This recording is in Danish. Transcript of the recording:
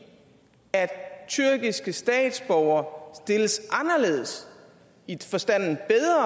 at tyrkiske statsborgere stilles anderledes